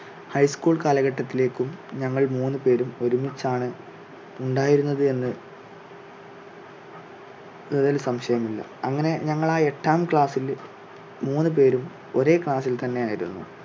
high school കാലഘട്ടത്തിലേക്കും ഞങ്ങൾ മൂന്ന് പേരും ഒരുമിച്ച് ആണ് ഉണ്ടായിരുന്നത് എന്ന് തിൽ സംശയം ഇല്ല അങ്ങനെ ഞങ്ങൾ ആ എട്ടാം class ില് മൂന്ന് പേരും ഒരേ class ിൽ തന്നെ ആയിരുന്നു.